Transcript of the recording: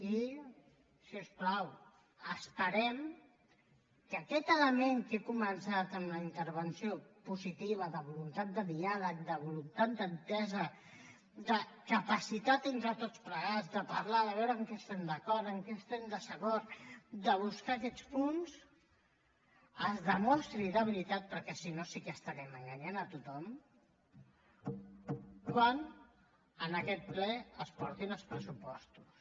i si us plau esperem que aquest element que he començat en la intervenció positiva de voluntat de diàleg de voluntat d’entesa de capacitat entre tots plegats de parlar de veure en què estem d’acord en què estem en desacord de buscar aquests punts es demostri de veritat perquè si no sí que estarem enganyant a tothom quan en aquest ple es portin els pressupostos